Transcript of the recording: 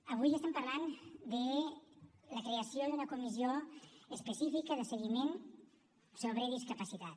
avui estem parlant de la creació d’una comissió específica de seguiment sobre discapacitat